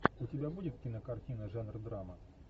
у тебя будет кинокартина жанр драма